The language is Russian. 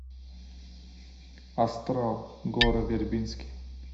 астрал гора вербински